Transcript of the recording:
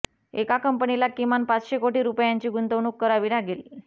एका कंपनीला किमान पाचशे कोटी रुपयांची गुंतवणूक करावी लागेल